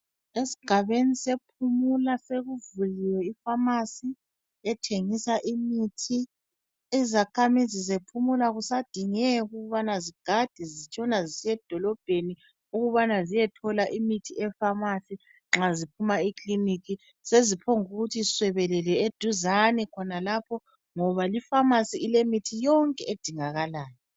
Esigabeni sePumula sekuvuliwe ifamasi ethengisa imithi. Izakhamizi zePumula akusadingeki ukubana zigade zitshona zisiyedolobheni ukubana ziyethola imithi efamasi nxa ziphuma ekilinika. Seziphonguthi swebelele eduzane khonalapho ngoba lifamasi ilemithi yonke edingakalayo.